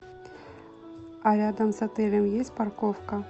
а рядом с отелем есть парковка